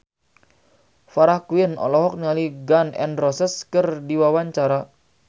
Farah Quinn olohok ningali Gun N Roses keur diwawancara